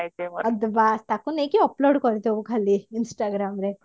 ବାସ ତାକୁ ନେଇକି upload କରିଦବୁ ଖାଲି instagram ରେ